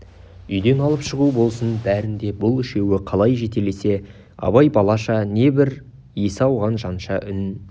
үйден алып шығу болсын бәрін де бұл үшеуі қалай жетелесе абай балаша не бір есі ауған жанша үн